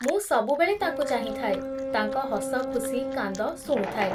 ମୁଁ ସବୁବେଳେ ତାଙ୍କୁ ଚାହିଁଥାଏ, ତାଙ୍କ ହସଖୁସି କାନ୍ଦ ଶୁଣୁଥାଏ ।